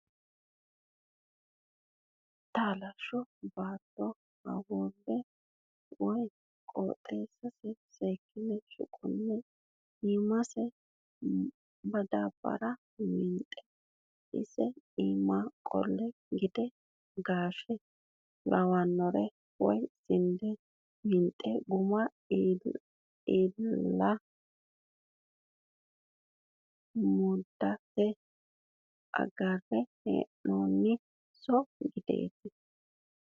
Talasho baatto hawure woyi qotinse seekkine shuqune iimase madabara winxe isi iima qole gidde gaashe lawanore woyi sinde winxe guma iillenna mudhate agarre hee'noniho shoye giddeti.